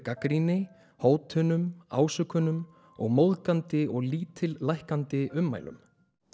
gagnrýni hótunum ásökunum og móðgunum og lítillækkandi ummælum